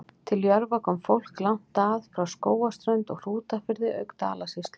Til Jörfa kom fólk langt að, frá Skógarströnd og Hrútafirði auk Dalasýslu.